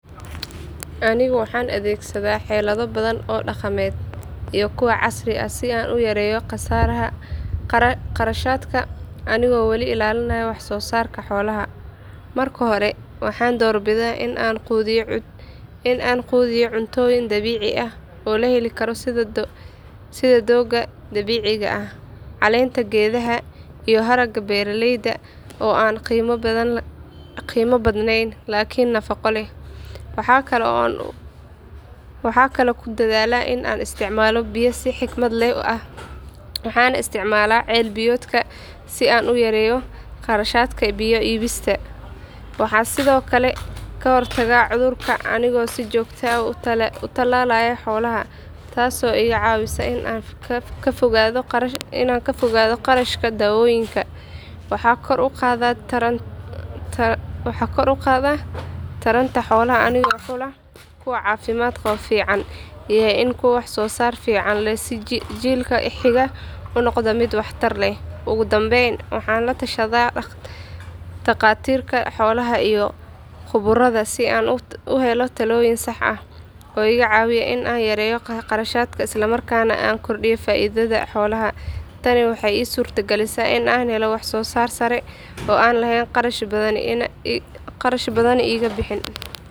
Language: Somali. Aniga waxan adhegsaada xelado badan oo daqameed iyo kuwa casiri ah si an uyareyo qasaraha qarashaadka anigo wali elalinaya xolaha marka hore waxan dor bida in an qudhiyo sitha doga dabiciga ah, waxa kalo ku dadhala in an isticmalo biya si xikmaad leh waxana isticmala cel biyodka, waxaa sithokale ka hortaga cudhurka, waxan kor u qadhaa taranta, oo iga cawiya in an yareyo qarashaadka isla markasna an yareyo faidada xolaha tani waxee isurta galisa qarash badan in iga bixin.